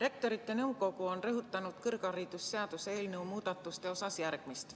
Rektorite Nõukogu on rõhutanud kõrgharidusseaduse eelnõu muudatuste kohta järgmist.